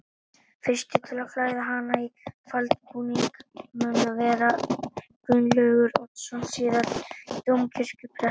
Fyrstur til að klæða hana í faldbúning mun vera Gunnlaugur Oddsson síðar dómkirkjuprestur.